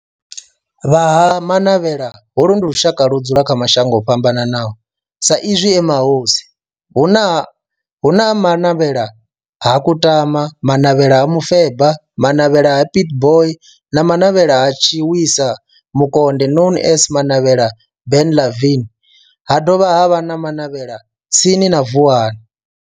Vha Ha-Manavhela, holu ndi lushaka ludzula kha mashango ofhambanaho sa izwi e mahosi hu na Manavhela ha Kutama, Manavhela ha Mufeba, Manavhela ha Pietboi na Manavhela ha Tshiwisa Mukonde known as Manavhela Benlavin ha dovha havha na Manavhela tsini na Vuwani.